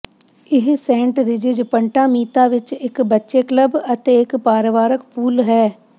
ਇਹ Saint Regis Punta Mita ਵਿਚ ਇਕ ਬੱਚੇ ਕਲੱਬ ਅਤੇ ਇਕ ਪਰਿਵਾਰਕ ਪੂਲ ਹੈ